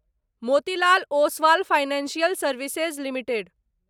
Motilal Oswal financial services limited